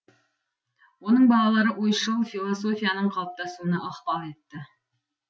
оның балалары ойшыл философияның қалыптасуына ықпал етті